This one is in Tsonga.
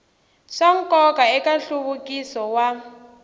swa nkoka eka nhluvukiso wa